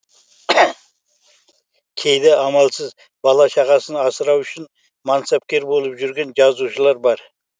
кейде амалсыз бала шағасын асырау үшін мансапкер болып жүрген жазушылар бар